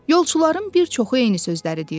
Yolçuların bir çoxu eyni sözləri deyirdi.